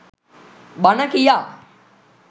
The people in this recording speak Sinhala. බණ කියා